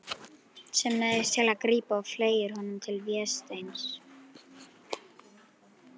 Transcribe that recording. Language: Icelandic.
Sem neyðist til að grípa og fleygir honum til Vésteins.